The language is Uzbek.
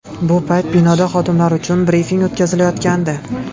Bu payt binoda xodimlar uchun brifing o‘tkazilayotgandi.